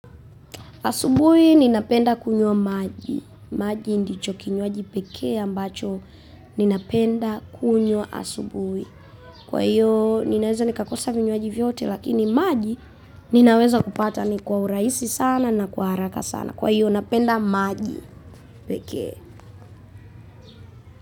Asubui ninapenda kunywa maji. Maji ndicho kinywaji pekee ambacho ninapenda kunywa asubui. Kwa hiyo ninaweza nikakosa vinywaji vyote lakini maji ninaweza kupata ni kwa urahisi sana na kwa haraka sana. Kwa hiyo napenda maji pekee.